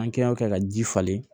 An kɛy'o kɛ ka ji falen